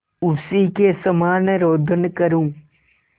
उसी के समान रोदन करूँ